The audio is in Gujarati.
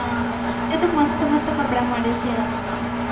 ત્યાં તો મસ્ત મસ્ત કપડાં મળે છે યાર.